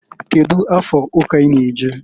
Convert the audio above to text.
Kedu afa ụka i na- eje?